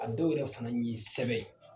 A dɔw yɛrɛ fan ye sɛbɛn ye.